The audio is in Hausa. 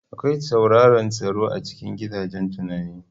Akwai tsauraran tsaro a cikin gidajen tunani.